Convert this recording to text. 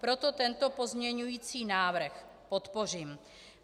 Proto tento pozměňovací návrh podpořím.